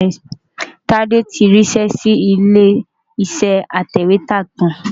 Tade ti rí iṣẹ́ sí ilé iṣẹ́ atẹ̀wétà kan.